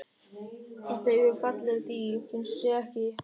Þetta eru falleg dýr, finnst þér ekki?